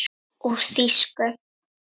Úr þýsku